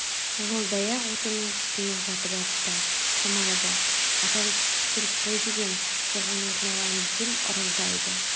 жолдаяқ отынның үстіне жатып апты тұрмайды апам сүтті пісіріп қой деген соған отын алайын десем ырылдайды